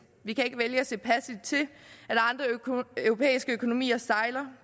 vi kan ikke vælge at se passivt til at andre europæiske økonomier sejler